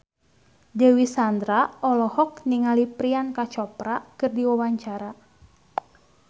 Dewi Sandra olohok ningali Priyanka Chopra keur diwawancara